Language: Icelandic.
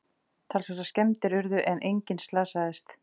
Talsverðar skemmdir urðu en enginn slasaðist